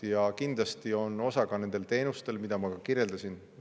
Ja kindlasti on oma osa ka nendel teenustel, mida ma kirjeldasin.